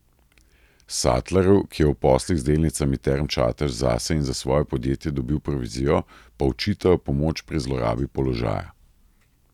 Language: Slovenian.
Satlerju, ki je v poslih z delnicami Term Čatež zase in za svoje podjetje dobil provizijo, pa očitajo pomoč pri zlorabi položaja.